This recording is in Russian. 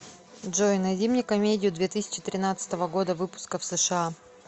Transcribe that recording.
джой найди мне комедию две тысячи тринадцатого года выпуска в сша